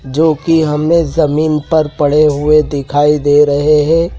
जोकि हमें जमीन पर पड़े हुए दिखाई दे रहे हैं।